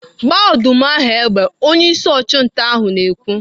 "Gbaa ọdụm ahụ egbe!' Onyeisi ọchụnta ahụ na-ekwu.